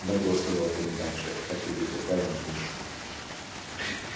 добро сказал комендантша так и быть отправим мишу